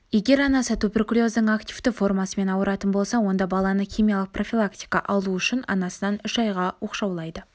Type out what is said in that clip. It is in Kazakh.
егер анасы туберкулездің активті формасымен ауыратын болса онда баланы химиялық профилактика алу үшін анасынан үш айға оқшаулайды